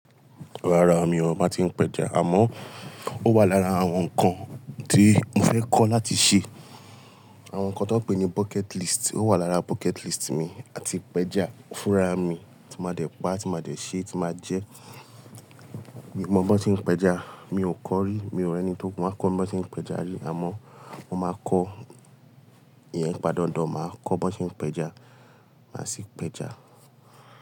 Rárá mi ò mọ tí ń pẹja, àmọ́ ó wà lára àwọn nǹkan tí mo fẹ́ kọ́ láti ṣe Àwọn nǹkan tó pè ní bucket list, ó wà lára bucket list mi A ti pẹja fúnra mi tí máa dẹ̀ pa, tí máa dẹ̀ ṣe, tí máa jẹ́. Mo mọ bí wọ́n tí ń pẹja, mi ò kọ́ rí, mi ò rí ẹni tí ó kún ún máa kọ́ bí wọ́n tí ń pẹja rí. Àmọ́ mo máa kọ́ ìyẹn padà, mo máa kọ́ bí wọ́n tí ń pẹja, máa sì pẹja.